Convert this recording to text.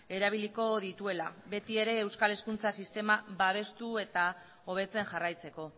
erabiliko dituela betiere euskal hezkuntza sistema babestu eta hobetzen jarraitzeko